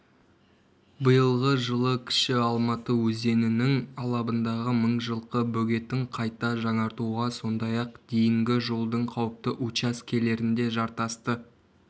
биылғы жылы кіші алматы өзенінің алабындағы мыңжылқы бөгетін қайта жаңартуға сондай-ақ дейінгі жолдың қауіпті учаскелерінде жартасты